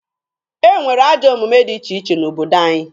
E nwere ajọ omume dị iche iche n'obodo anyị.